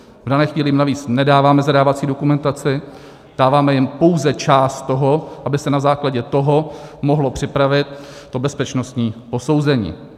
V dané chvíli jim navíc nedáváme zadávací dokumentaci, dáváme jim pouze část toho, aby se na základě toho mohlo připravit to bezpečnostní posouzení.